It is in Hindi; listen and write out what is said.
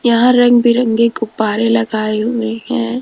यहां रंग बिरंगे गुब्बारे लगाए हुए हैं।